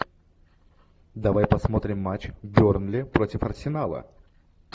давай посмотрим матч бернли против арсенала